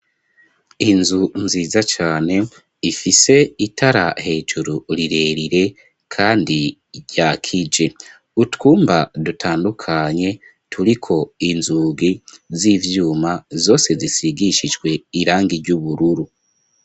Inzu nziza cane ifise itara hejuru rirerire, kandi ryakije utwumba dutandukanye turiko inzugi z'ivyuma zose zisigishijwe irangi ry'ubururu.